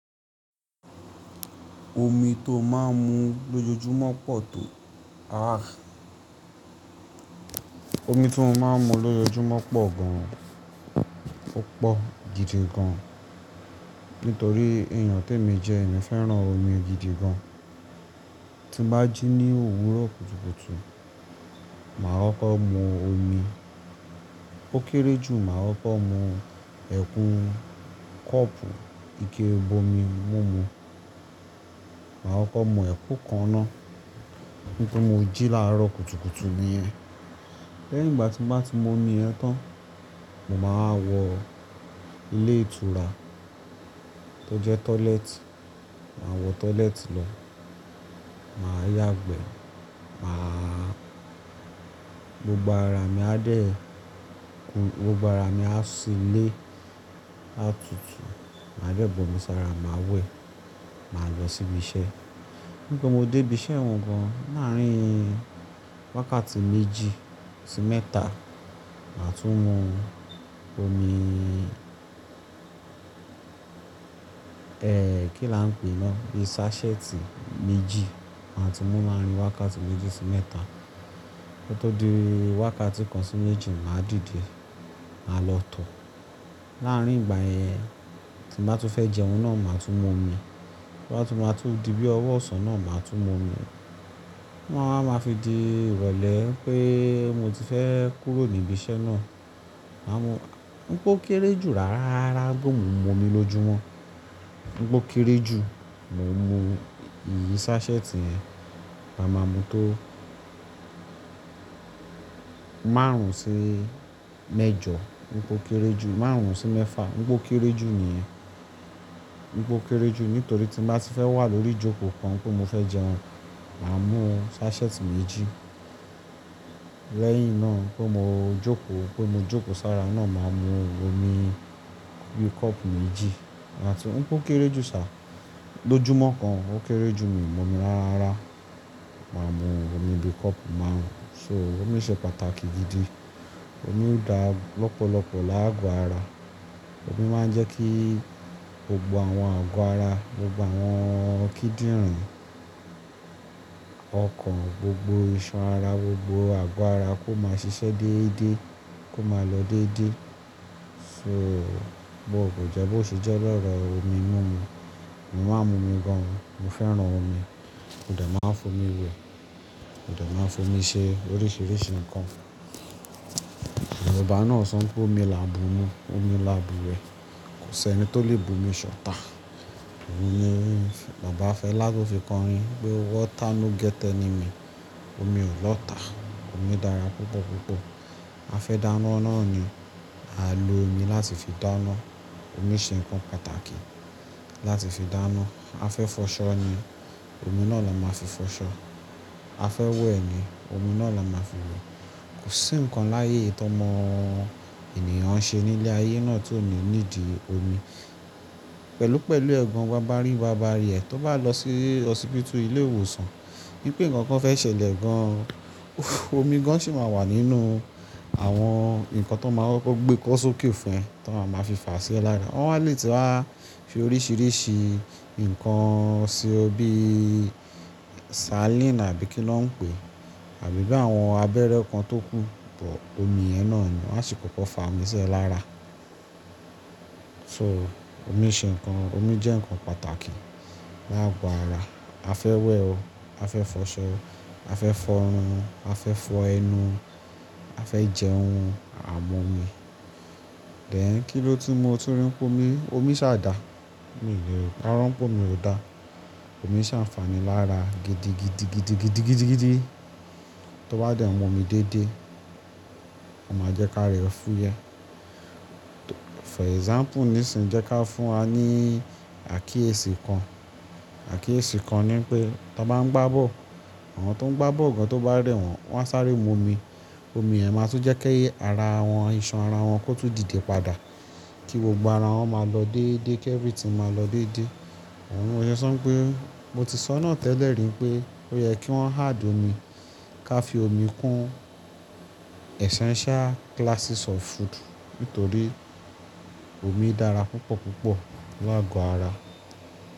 Omi tó máa ń mu lójoojúmọ́ pọ̀ tó-- ah. Omi tí mo máa ń mu lójoojúmọ́ pọ̀ gan. Ó pọ̀ gidi gan. Nítorí èèyàn tó ń mí jẹ, èmi fẹ́ràn omi gidi gan. Tí bá jí ní òwúrọ̀ kùtùkùtù, màá kọ́rkor mú omi. Ó kéré jù, màá kọ́rkor mú ẹ̀kún kọ́ọ̀pù ike ibomi mú mu. Màá kọ́ mú ẹ̀kún kan ná. Nítorí mo jí láàárọ̀ kùtùkùtù níyẹn. Lẹ́yìn ìgbà tí bá ti mú omi yẹn tán, mo máa wọ ilé ìtura tó jẹ́ toilet. Màá wọ toilet lọ. Màá yàgbẹ̀. Màá-- gbogbo ara mi á dẹ̀ ku, gbogbo ara mi á ṣílé àtútù. Màá dẹ́bọ̀ mi sára, màá wẹ̀. Màá lọ síbi iṣẹ́. Nígbà tí mo dé ibi iṣẹ́ wọn gan, láàárín wákàtí méjì sí mẹ́ta, màá tún mu omi, ẹ́ kí là ń pè é ná, bi sásẹ́ẹ̀tì méjì. Màá tún mú láàrín wákàtí méjì sí mẹ́ta. Kó tó di wákàtí kan sí méjì, màá dìde. Màá lọ tọ̀. Láàárín ìgbà yẹn, tí bá tu fẹ́ jẹun ná, màá tún mu omi. Tobá tu máa tú di bí ọwọ́ ọ̀sán ná, màá tún mu omi. Wọ́n a máa fi di ìrọ̀lẹ́ pé mo ti fẹ́ kúrò ní ibi iṣẹ́ ná. Má mú-- nípe o kéré jù rárá, bó mú mu omi lójúmọ́. Nígbó kéré jù, mo mú ìyí sásẹ́ẹ̀tì yẹn. Màá máa mú tó márùn sí mẹ́jọ. Nígbó kéré jù, márùn sí mẹ́fà. Nígbó kéré jù níyẹn. Nígbó kéré jù, nítorí tí bá ti fẹ́ wà lórí jókòó kan pé mo fẹ́ jẹun, màá mú sásẹ́ẹ̀tì méjì. Lẹ́yìn ná, tó mo jókòó, kó mo jókòó sára ná, màá mu omi bí kọ́ọ̀pù méjì. Láti-- nígbó kéré jù sá. Lójúmọ́ kan, ó kéré jù, mi ò mú omi rárá. Màá mu omi bí kọ́ọ̀pù márùn. So omi ṣe pàtàkì gidi. Omi dá lọ́pọ̀lọ́pọ̀ láago ara. Omi máa ń jẹ́ kí gbogbo àwọn àgọ́ ara, gbogbo àwọn kíndìnrín ọkàn, gbogbo ìṣan ara, gbogbo àgọ́ ara kó máa ṣiṣẹ́ déédéé, kó máa lọ déédéé. So bó kò jẹ́ bó sì jẹ́, ó lẹ́rọ̀ omi mú mu. Èmi máa ń mu omi gan. Èmi fẹ́ràn omi. Ó dà máa ń fún mi wẹ̀. Ó dà máa ń fún mi ṣe oríṣiríṣi nǹkan. Bàbá ná sọ pé omi là bú mu, omi là bú ẹ. Kò sẹ́ni tó lè bu omi ṣọ̀tá. Òun ni Bàbá Fẹlá tó fi kọrin pé "water no get enemy". Omi ò lọ́ta. Omi dára púpọ̀ púpọ̀. A fẹ́ dáná náà ni, à ń lo omi láti fi dáná. Omi ṣe nǹkan pàtàkì láti fi dáná. A fẹ́ fọṣọ ni, omi náà la máa fi fọṣọ. A fẹ́ wẹ̀ ni, omi náà la máa fi wẹ̀. Kò sí nǹkan láyé tó mọ ènìyàn ṣe nílé ayé náà tí ò ní nídi omi. Pẹ̀lúpẹ̀lú ẹ̀gàn, wà bá rí, wà bá rí ẹ̀, tó bá lọ sí hospital, ilé ìwòsàn, ní pé nǹkan kan fẹ́ ṣẹlẹ̀ gan, omi gan sì máa wà nínú àwọn nǹkan tó máa gbé kó sókè fún ẹ, tó máa ma fi fà sí ẹ lára. Wọ́n á lè ti wá fi oríṣiríṣi nǹkan ṣe ọ bí saline àbí kí ló ń pè é, àbí bí àwọn abẹ́rẹ́ kan tó kún, bọ̀ omi yẹn náà ni. Wọ́n á sì kóko fà ámu sí ẹ lára. So omi ṣe nǹkan, omi jẹ́ nǹkan pàtàkì láago ara. A fẹ́ wẹ̀ o, a fẹ́ fọṣọ o, a fẹ́ fọrun, a fẹ́ fọ ẹnu, a fẹ́ jẹun, a mú omi. Then kí ló ti mú ọ tún rí pọ́nmi? Omi ṣàdà. Mi ò lè paro pọ́nmi ò dá. Omi ṣàǹfàní lára gidi gidi gidi gidi gidi gidi. Tó bá dẹ̀ mú omi dédé, ó máa jẹ́ ká rẹ fún yẹ. For example, nísinjẹ́ ká fún wa ní àkíyèsí kan. Àkíyèsí kan ní pé tó bá ń gbá bọ́ọ̀lù, àwọn tó ń gbá bọ́ọ̀lù gan tó bá rẹ̀ wọ́n, wọ́n á sáré mú omi. Omi yẹn máa tún jẹ́ kó ẹyẹ ara wọn, iṣan ara wọn kó tún dìde padà. Kí gbogbo ara wọn máa lọ déédéé, kí everything máa lọ déédéé. Owuni mòṣe sọ pé, mo ti sọ náà tẹ́lẹ̀ rí pé ó yẹ kí wọ́n add omi. Ká fi omi kún essential classes of food. Nítorí omi dára púpọ̀ púpọ̀ láago ara.